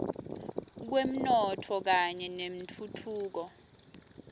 kwemnotfo kanye nentfutfuko